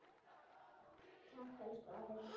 Takk, elsku afi.